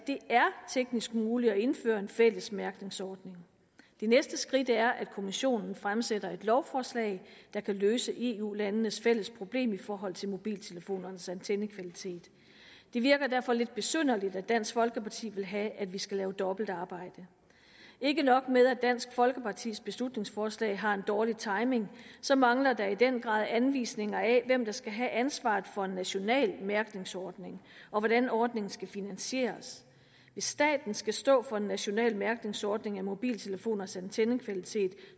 teknisk muligt at indføre en fælles mærkningsordning det næste skridt er at kommissionen fremsætter et lovforslag der kan løse eu landenes fælles problem i forhold til mobiltelefonernes antennekvalitet det virker derfor lidt besynderligt at dansk folkeparti vil have at vi skal lave dobbeltarbejde ikke nok med at dansk folkepartis beslutningsforslag har en dårlig timing så mangler der i den grad anvisninger af hvem der skal have ansvaret for en national mærkningsordning og hvordan ordningen skal finansieres hvis staten skal stå for en national mærkningsordning af mobiltelefoners antennekvalitet